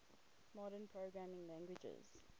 modern programming languages